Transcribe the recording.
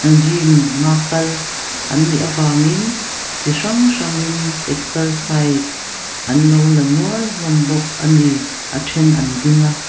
gym a kal annih a vangin chi hrang hrang in exercise anlo la nual hlawm bawk a ni a then an ding a.